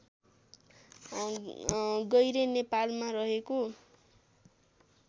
गैरे नेपालमा रहेको